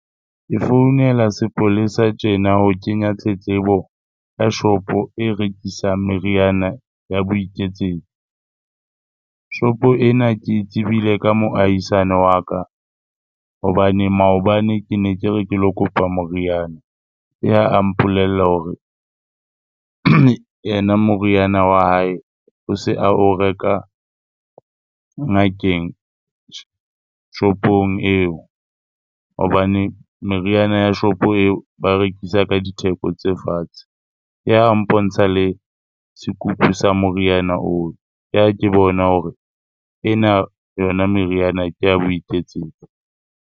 Ke founela sepolesa tjena ho kenya tletlebo ka shopo e rekisang meriana ya boiketsetso. Shopo ena ke e tsebile ka moahisani wa ka hobane maobane ke ne ke re ke lo kopa moriana, ke ha a mpolella hore yena moriana wa hae o se a o reka ngakeng shopong eo hobane meriana ya shopo eo ba rekisa ka ditheko tse fatshe. Ke ha a mpontsha le sekupu sa moriana oo, ke ha ke bona hore ena yona meriana ke ya boiketsetso.